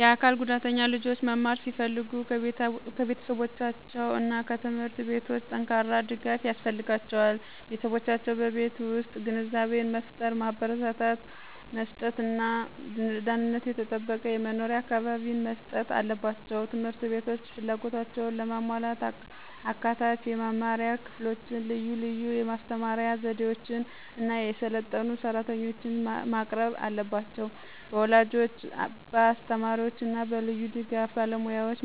የአካል ጉዳተኛ ልጆች መማር ሲፈልጉ ከቤተሰቦቻቸው እና ከትምህርት ቤቶች ጠንካራ ድጋፍ ያስፈልጋቸዋል። ቤተሰቦቻቸው በቤት ውስጥ ግንዛቤን መፍጠር፣ ማበረታቻ መስጥት እና ደህንነቱ የተጠበቀ የመኖሪያ አካባቢን መስጠት አለባቸው። ት/ቤቶች ፍላጎታቸውን ለማሟላት አካታች የመማሪያ ክፍሎችን፣ ልዩ ልዩ የማስተማር ስነዘዴዎችን እና የሰለጠኑ ሰራተኞችን ማቅረብ አለባቸው። በወላጆች፣ በአስተማሪዎች እና በልዩ ድጋፍ ባለሙያዎች